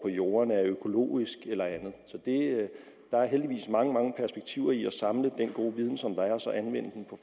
jordene er økologisk eller andet der er heldigvis mange mange perspektiver i at indsamle den gode viden som der er og så anvende den